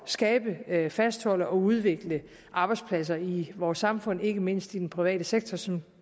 skabe fastholde og udvikle arbejdspladser i vores samfund ikke mindst i den private sektor som